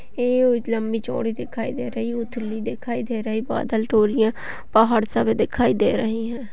ये उ लम्बी चौड़ी दिखाई दे रही उथली दिखाई दे रही बादल पहाड़ सब दिखाई दे रही हैं।